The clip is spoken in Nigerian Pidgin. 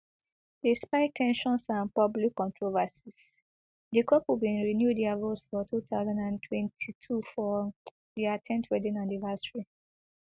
despite ten sions and public controversies di couple bin renew dia vows for two thousand and twenty-two for dia ten th wedding anniversary